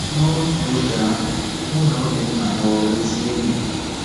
N’otu oge ahụ, mụ na Obinna ghọrọ ezi enyi.